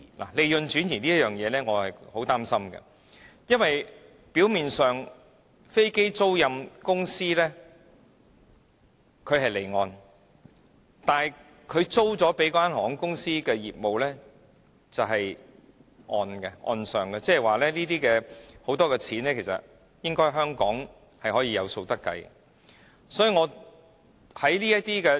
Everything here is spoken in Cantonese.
對於利潤轉移這一點，我深感憂慮，因為飛機租賃業務表面上屬於離岸，但承租的航空公司的業務卻在本地進行，即是說有很多在港收入其實是可以計算得到的。